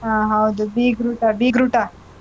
ಹ್ಮ್, ಹೌದು. ಬೀಗ್ರೂಟ, ಬೀಗ್ರೂಟ.